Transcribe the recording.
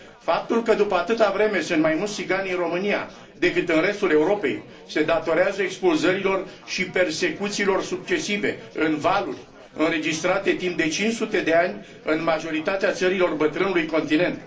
Faptul că, după atâta vreme, sunt mai mulți țigani în România decât în restul Europei, se datorează expulzărilor și persecuțiilor succesive, în valuri, înregistrate timp de 500 de ani în majoritatea țărilor bătrânului continent.